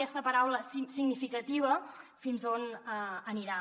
aquesta paraula significativa fins on anirà